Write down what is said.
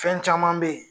Fɛn caman be yen